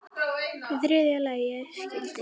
Í þriðja lagi skyldi